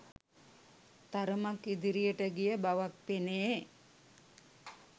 තරමක් ඉදිරියට ගිය බවක් පෙනේ.